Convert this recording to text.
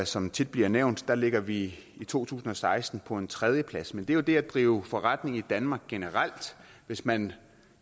som tit bliver nævnt ligger vi i to tusind og seksten på en tredjeplads men det gælder jo det at drive forretning i danmark generelt hvis man